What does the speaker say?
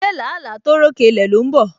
Se làálàá tó ròkè ilẹ̀ ló ń bọ̀?